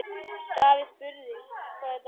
Davíð spurði, hvað þetta væri.